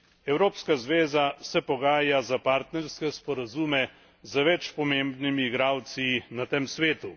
Evropska zveza se pogaja za partnerske sporazume z več pomembnimi igralci na tem svetu.